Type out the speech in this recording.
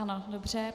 Ano, dobře.